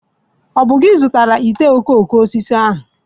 Ọ bụ gị zụtara ite ifuru ahụ?